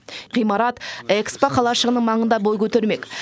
ғимарат экспо қалашығының маңында бой көтермек